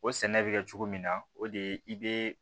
O sɛnɛ bɛ kɛ cogo min na o de ye i be